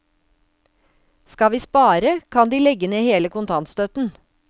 Skal vi spare, kan de legge ned hele kontantstøtten.